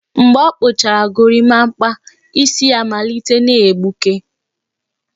Mgbe ọ kpụchara gorimapa, isi ya malitere na-egbuke